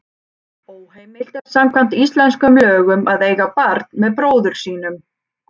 Óheimilt er samkvæmt íslenskum lögum að eiga barn með bróður sínum.